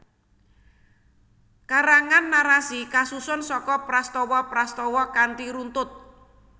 Karangan narasi kasusun saka prastawa prastawa kanthi runtut